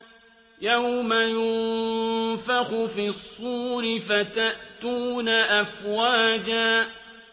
يَوْمَ يُنفَخُ فِي الصُّورِ فَتَأْتُونَ أَفْوَاجًا